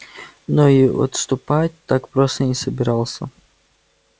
но и отступать так просто не собирался